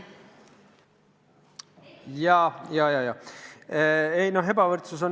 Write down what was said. Siin on tegu ebavõrdsusega.